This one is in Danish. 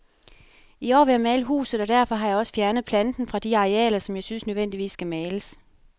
I år vil jeg male huset, og derfor har jeg også fjernet planten fra de arealer, som jeg synes nødvendigvis skal males.